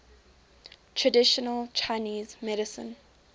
traditional chinese medicine